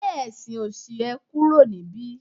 gbe ẹsìn òṣì e kúrò nibi